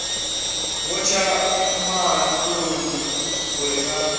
vho tsha maṱoni uri vha